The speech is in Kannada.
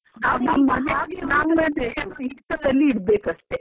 .